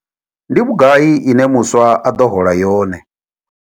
Ndi vhugai ine muswa a ḓo hola yone?